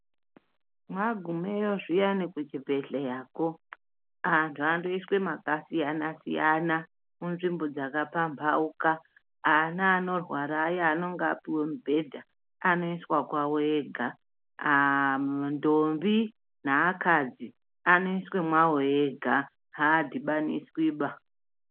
Mwagumeyo zviyani kuchibhehleya antu anoiswa makasiyana siyana munzvimbo dzakapambauka. Ana anorwara aya anonga apuwa mibhedha anoiswa kwavo wega. Ntombi neakadzi anoiswa kwavo ega haadhibaniswiba.